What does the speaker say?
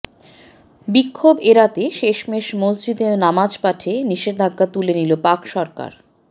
বিক্ষোভ এড়াতে শেষমেশ মসজিদে নামাজ পাঠে নিষেধাজ্ঞা তুলে নিল পাক সরকার